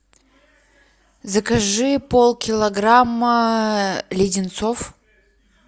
закажи полкилограмма леденцов